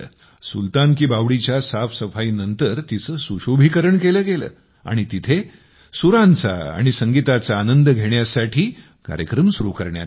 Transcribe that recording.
सुलतान की बावडीच्या साफसफाईनंतर तिचे सुशोभीकरण केले गेले आणि तिथे सुरांचा आणि संगीताचा आनंद घेण्यासाठी कार्यक्रम सुरु करण्यात आला